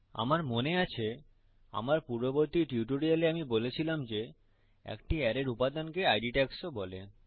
আমার মনে আছে যে আমার পূর্ববর্তী টিউটোরিয়ালে আমি বলেছিলাম যে একটি অ্যারের উপাদানকে ইদ ট্যাগস ও বলে